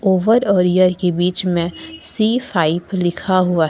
Over और year के बीच मे सी फाइव लिखा हुआ है।